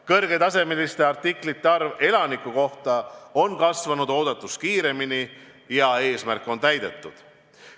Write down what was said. Kõrgetasemeliste artiklite arv elaniku kohta on kasvanud oodatust kiiremini ja eesmärk on täidetud.